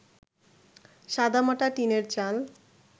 সাদামাটা টিনের চাল